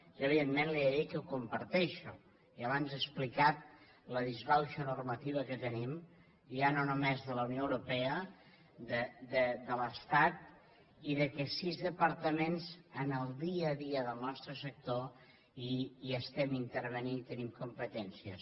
jo evidentment li he de dir que ho comparteixo i abans he explicat la disbauxa normativa que tenim ja no només de la unió europea de l’estat i que sis departaments en el dia a dia del nostre sector hi estem intervenint i hi tenim competències